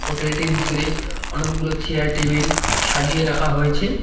Hotel -টির ভিতরে অনেকগুলো চেয়ার টেবিল সাজিয়ে রাখা হয়েছে।